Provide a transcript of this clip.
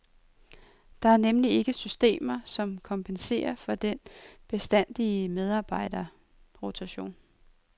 Der er nemlig ikke systemer som kompenserer for den bestandige medarbejderrotation.